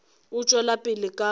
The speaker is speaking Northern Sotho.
o tšwela pele ka modiro